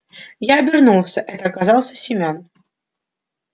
я обернулся это оказался семён